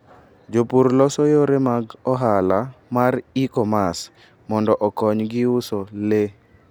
Jopur loso yore mag ohala mar e-commerce mondo okonygi uso le.